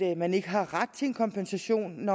at man ikke har ret til en kompensation